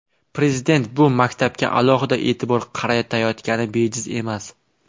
Prezident bu maktabga alohida e’tibor qaratayotgani bejiz emas.